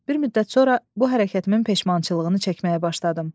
Bir müddət sonra bu hərəkətimin peşmançılığını çəkməyə başladım.